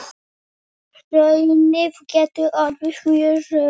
Hraunið getur orðið mjög rautt.